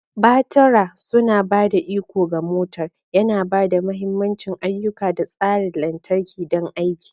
Batura tana ba da iko ga motar, yana ba da mahimman ayyuka da tsarin lantarki don aiki.